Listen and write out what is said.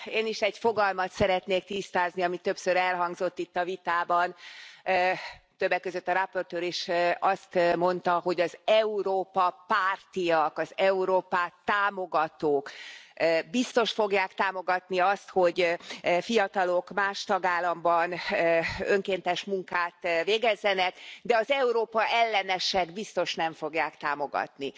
Én is egy fogalmat szeretnék tisztázni, ami többször elhangzott itt a vitában, többek között a rapportőr is azt mondta, hogy az Európa pártiak az Európát támogatók biztos fogják támogatni azt, hogy fiatalok más tagállamban önkéntes munkát végezzenek, de az Európa ellenesek biztos nem fogják támogatni.